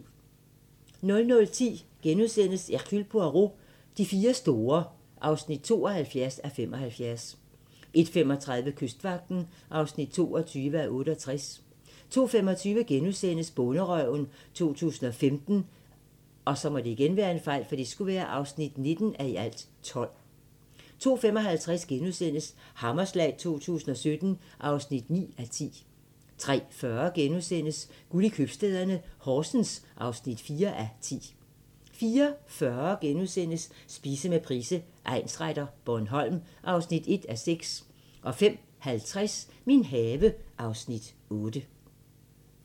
00:10: Hercule Poirot: De fire store (72:75)* 01:35: Kystvagten (22:68) 02:25: Bonderøven 2015 (19:12)* 02:55: Hammerslag 2017 (9:10)* 03:40: Guld i købstæderne – Horsens (4:10)* 04:40: Spise med Price, egnsretter: Bornholm (1:6)* 05:50: Min have (Afs. 8)